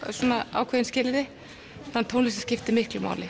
ákveðin skilyrði tónlistin skipti miklu máli